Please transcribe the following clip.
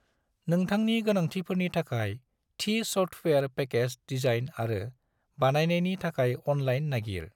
नोंथांनि गोनांथिफोरनि थाखाय थि सफ्टवेयर पेकेज डिजाइन आरो बानायनायनि थाखाय अनलाइन नागिर।